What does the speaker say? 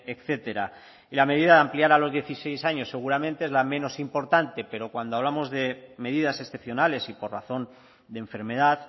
etcétera y la medida de ampliar a los dieciséis años seguramente es la menos importante pero cuando hablamos de medidas excepcionales y por razón de enfermedad